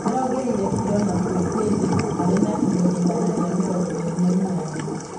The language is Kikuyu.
Niarongereire kilo na kwi hindi ari na kilo igana ria mirongo iri na inyanya